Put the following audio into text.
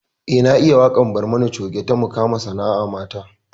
Eh na iya waƙar barmani coge ta mukama sana'a mata